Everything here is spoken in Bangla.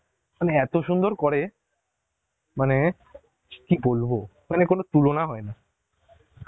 মানে, এত সুন্দর করে, মানে কি বলবো মানে কোন তুলনা হয়না